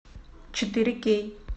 четыре кей